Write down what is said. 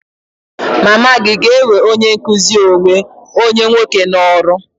Mama gị ga-ewe onye nkụzi onwe onye nwoke n'ọrụ?